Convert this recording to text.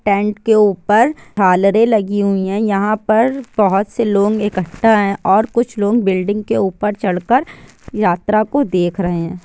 Tent के ऊपर झालरे लगी हुई है। यहां पर बहुत से लोग एकट्ठा है| कुछ लोग बिल्डिंग के ऊपर चढ़ कर यात्रा को देख रहे है।